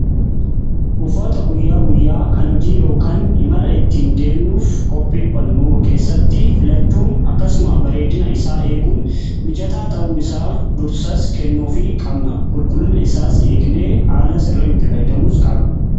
Uffata guyyaa guyyaa kan hojii yookaan imala ittiin deemnuuf qopheeffannu keessatti filachuun akkasuma bareedina isaa eeguun mijataa ta'uu isaa dursas kennuuf qabna. Qulqullina isaas eegne haala sirriin itti fayyidamuu qabna.